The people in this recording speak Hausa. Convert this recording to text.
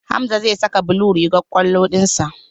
Hamza zai saka blue rigar kwallon dinsa.